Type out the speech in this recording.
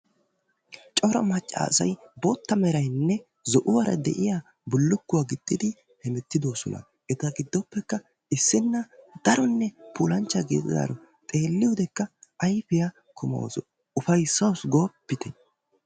Cora maccaassay bootta meraynne zo"uwaara de'iyaa bullukuwaa gixxidi hemettidoosona. eta giddoppekka issina daronne puulanchchaa gididaaro, xeeliyoodekka ayfiyaa kumawus, ufaysaawus goopite!